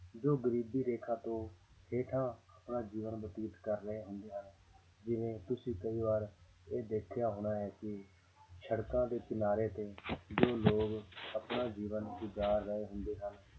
ਜੋ ਗਰੀਬੀ ਰੇਖਾ ਤੋਂ ਹੇਠਾਂ ਆਪਣਾ ਜੀਵਨ ਬਤੀਤ ਕਰ ਰਹੇ ਹੁੰਦੇ ਆ ਜਿਵੇਂ ਤੁਸੀਂ ਕਈ ਵਾਰ ਇਹ ਦੇਖਿਆ ਹੋਣਾ ਹੈ ਕਿ ਸੜਕਾਂ ਦੇ ਕਿਨਾਰੇ ਤੇ ਜੋ ਲੋਕ ਆਪਣਾ ਜੀਵਨ ਗੁਜ਼ਾਰ ਰਹੇ ਹੁੰਦੇ ਹਨ